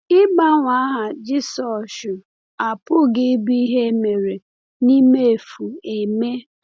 Ịgbanwe aha Jisọshụ apụghị ịbụ ihe e mere n’imefu eme.